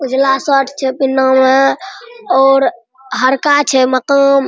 उजला शर्ट छै पिन्हाना में और हरका छै मक़ाम--